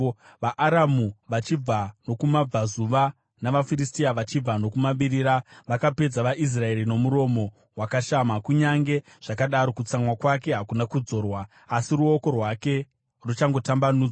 VaAramu vachibva nokumabvazuva navaFiristia vachibva nokumavirira vakapedza vaIsraeri nomuromo wakashama. Kunyange zvakadaro, kutsamwa kwake hakuna kudzorwa, asi ruoko rwake ruchatongotambanudzwa.